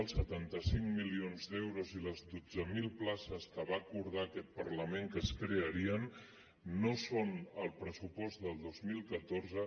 els setanta cinc milions d’euros i les dotze mil places que va acordar aquest parlament que es crearien no són al pressupost del dos mil catorze